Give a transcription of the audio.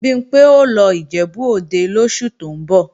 Bimpé ó lọ Ìjẹ̀bú-Òde lóṣù tó ń bọ̀